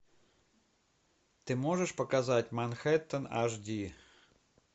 ты можешь показать манхэттен аш ди